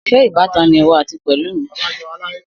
Sé ìbátan ni ìwọ àti Pelumi?